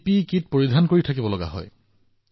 ইয়াৰ পিছত নমুনা পৰীক্ষাগাৰত উপনীত হয়